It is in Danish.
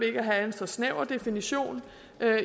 ikke at have en så snæver definition